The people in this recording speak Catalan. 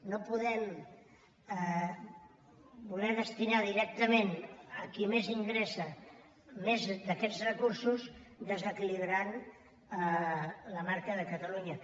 no podem voler destinar directament a qui més ingressa més d’aquests recursos i desequilibrar la marca de catalunya